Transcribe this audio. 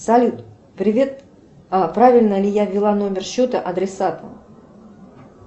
салют привет правильно ли я ввела номер счета адресату